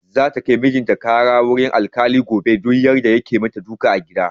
Za ta kai mijin ta ƙara wurin alkali gobe don yarda yake dukan ta a gida.